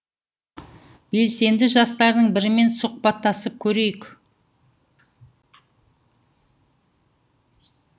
белсенді жастардың бірімен сұхбаттасып көрейік